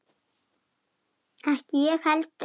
Ekki ég heldur!